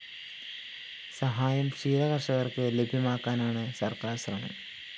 സഹായം ക്ഷീരകര്‍ഷകര്‍ക്ക് ലഭ്യമാക്കാനാണ് സര്‍ക്കാര്‍ ശ്രമം